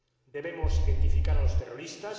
Debemos identificar a los terroristas